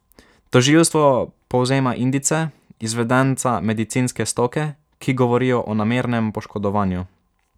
Tožilstvo povzema indice izvedenca medicinske stoke, ki govorijo o namernem poškodovanju.